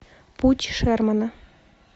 путь шермана